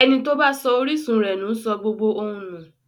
Ẹni tó bá sọ orísun rẹ̀ nù sọ gbogbo ohun nù.